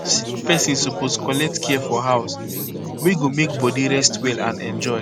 sick person suppose collect care for house wey go make body rest well and enjoy